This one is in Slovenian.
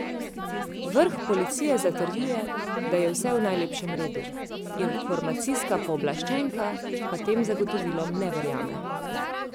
Vrh policije zatrjuje, da je vse v najlepšem redu, informacijska pooblaščenka pa tem zagotovilom ne verjame.